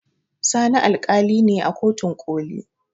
Sani alƙali ne a kotun ƙoli